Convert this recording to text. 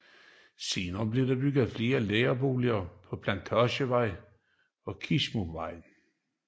Senere blev der bygget flere lærerboliger på Plantagevej og Kisumvej